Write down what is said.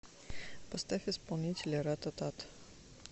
поставь исполнителя рататат